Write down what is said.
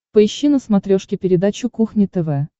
поищи на смотрешке передачу кухня тв